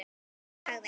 Hún sagði: